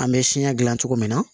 An bɛ siɲɛ gilan cogo min na